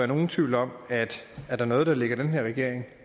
nogen tvivl om at er der noget der ligger den her regering